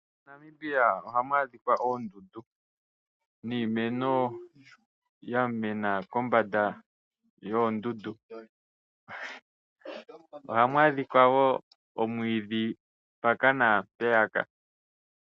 MoNamibia oha mu adhika oondunda niimeno ya mena kombanda yoondundu. Oha mu adhika woo omwiidhi gwa mena mpaka na mpeyaka.